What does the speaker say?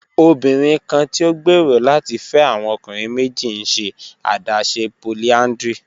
Obinrin kan ti o gbero lati fẹ awọn ọkunrin meji n ṣe adaṣe polyandry